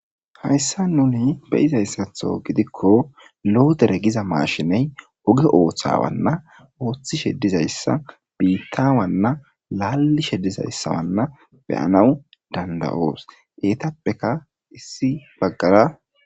Hayssa nuni beyizayssatho gidikko loodere giza maashiney oge ooththawanna ooththishe dizayssa biittawanna laallishe dizayssawanna beyanawu dandayoos eetappeka issi baggara..